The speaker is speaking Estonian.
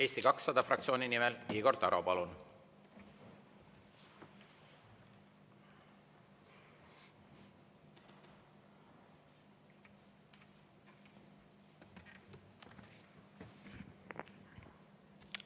Eesti 200 fraktsiooni nimel Igor Taro, palun!